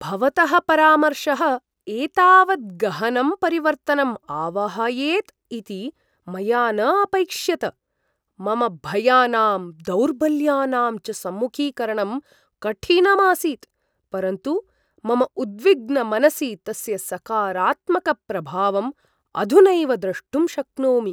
भवतः परामर्शः एतावत् गहनं परिवर्तनं आवाहयेत् इति मया न अपैक्ष्यत! मम भयानां दौर्बल्यानां च सम्मुखीकरणं कठिनम् आसीत्, परन्तु मम उद्विग्नमनसि तस्य सकारात्मकप्रभावं अधुनैव द्रष्टुं शक्नोमि।